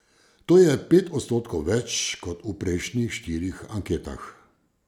To je pet odstotkov več kot v prejšnjih štirih anketah.